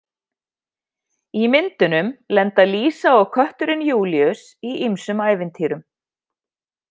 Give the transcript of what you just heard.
Í myndunum lenda Lísa og kötturinn Júlíus í ýmsum ævintýrum.